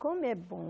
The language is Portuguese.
Como é bom.